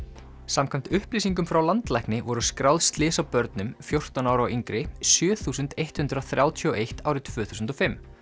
samkvæmt upplýsingum frá landlækni voru skráð slys á börnum fjórtán ára og yngri sjö þúsund eitt hundrað þrjátíu og eitt árið tvö þúsund og fimm